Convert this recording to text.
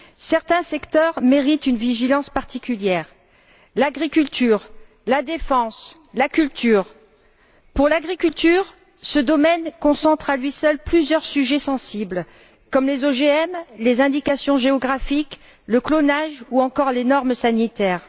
Certains secteurs méritent une vigilance particulière l'agriculture, la défense, la culture. Pour ce qui est de l'agriculture, ce domaine concentre, à lui seul, plusieurs sujets sensibles, comme les OGM, les indications géographiques, le clonage, ou encore les normes sanitaires.